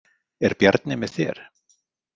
Er Bjarni með þér?